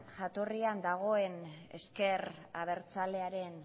jatorrian dagoen ezker abertzalearen